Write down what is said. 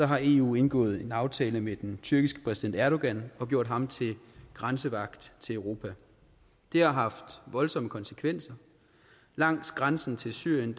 har eu indgået en aftale med den tyrkiske præsident erdogan og gjort ham til grænsevagt til europa det har haft voldsomme konsekvenser langs grænsen til syrien